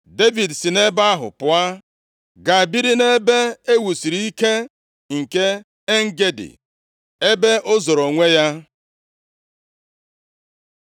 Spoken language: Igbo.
Devid si nʼebe ahụ pụọ gaa biri nʼebe e wusiri ike nke En-Gedi, ebe o zoro onwe ya.